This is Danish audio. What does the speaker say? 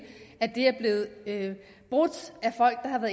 er blevet brudt